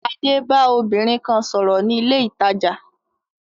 Adé ba obìnrin kan sòrò ni ilé ìtajà